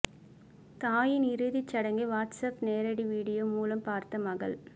தாயின் இறுதிச்சடங்கை WhatsApp நேரடி வீடியோ மூலம் பார்த்த மகள்